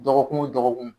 Dɔgɔkun o dɔgɔkun